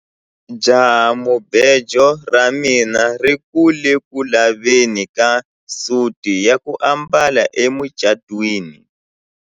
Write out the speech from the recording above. Jahamubejo ra mina ri ku le ku laveni ka suti ya ku ambala emucatwini.